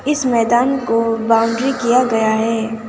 इस मैदान को बाउंड्री किया गया है।